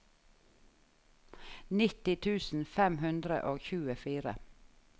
nitti tusen fem hundre og tjuefire